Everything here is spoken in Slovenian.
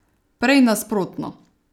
Prej nasprotno.